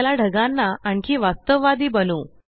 चला ढगांना आणखी वास्तववादी बनऊ